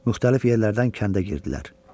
Müxtəlif yerlərdən kəndə girdilər.